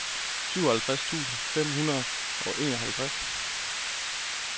syvoghalvfjerds tusind fem hundrede og enoghalvtreds